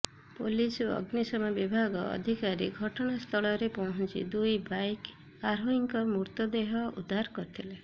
police ଓ ଅଗ୍ନିଶମ ବିଭାଗ ଅଧିକାରୀ ଘଟଣାସ୍ଥଳରେ ପହଞ୍ଚି ଦୁଇ ବାଇକ୍ ଆରୋହୀଙ୍କ ମୃତଦେହ ଉଦ୍ଧାର କରିଥିଲେ